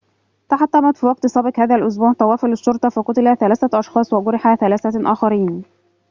تحطمت في وقت سابق هذا الأسبوع طوافة للشرطة فقُتل 3 أشخاص وجُرح 3 آخرين